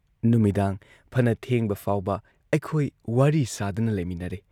ꯅꯨꯃꯤꯗꯥꯡ ꯐꯅ ꯊꯦꯡꯕ ꯐꯥꯎꯕ ꯑꯩꯈꯣꯏ ꯋꯥꯔꯤ ꯁꯥꯗꯨꯅ ꯂꯩꯃꯤꯟꯅꯔꯦ ꯫